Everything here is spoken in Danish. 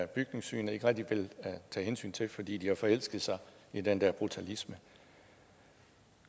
bygningssynet ikke rigtig vil tage hensyn til fordi de har forelsket sig i den der brutalisme